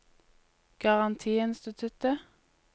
garantiinstituttet